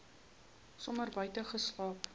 somer buite geslaap